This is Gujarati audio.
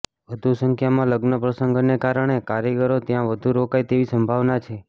વધુ સંખ્યામાં લગ્નપ્રસંગોને કારણે કારીગરો ત્યાં વધુ રોકાય તેવી સંભાવના છે